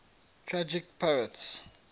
tragic poets